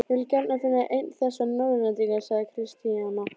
Ég vil gjarnan finna einn þessara Norðlendinga, sagði Christian.